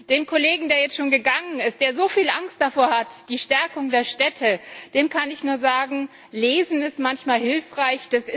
Dem Kollegen, der jetzt schon gegangen ist, der so viel Angst davor hat, vor der Stärkung der Städte, dem kann ich nur sagen, lesen ist manchmal hilfreich.